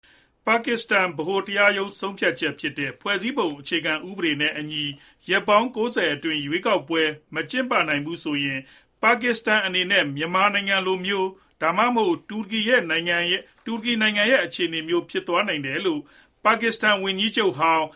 ပါကစ္စတန်ဗဟိုတရားရုံးဆုံးဖြတ်ချက်ဖြစ်တဲ့ ဖွဲ့စည်းပုံအခြေခံ ဥပဒေနဲ့အညီ ရက်ပေါင်း အတွင်း ရွေးကောက်ပွဲ မကျင်းပနိုင်ဘူးဆိုရင် ပါကစ္စတန်အနေနဲ့ မြန်မာနိုင်ငံလိုမျိုး ဒါမှမဟုတ် တူရကီနိုင်ငံရဲ့ အခြေအနေမျိုး ဖြစ်သွားနိုင်တယ်လို့ ပါကစ္စတန် ဝန်ကြီးချုပ်ဟောင်း